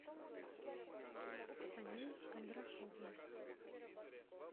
саней кондрашовым